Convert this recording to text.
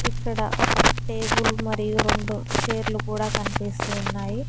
ఇక్కడ ఒక టేబుల్ మరియు రెండు చైర్లు కూడా కనిపిస్తూ ఉన్నాయి.